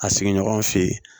A sigiɲɔgɔnw fe yen